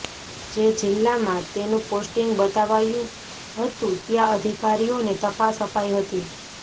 જે જિલ્લામાં તેનું પોસ્ટિંગ બતાવાયું હતું ત્યા અધિકારીઓને તપાસ અપાઈ હતી